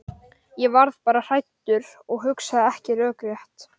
Ég varð bara hræddur og hugsaði ekki rökrétt.